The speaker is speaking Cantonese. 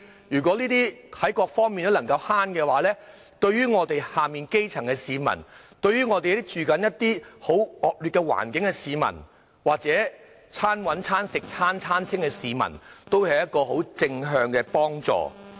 如果在各方面都能夠節省，對於基層市民、居住在惡劣環境的市民，或者"餐搵餐食餐餐清"的市民，都有很正面的幫助。